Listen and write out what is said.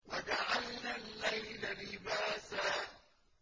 وَجَعَلْنَا اللَّيْلَ لِبَاسًا